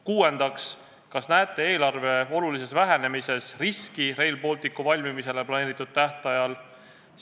Kuuendaks, kas näete eelarve olulises vähenemises riski Rail Balticu valmimisele planeeritud tähtajaks?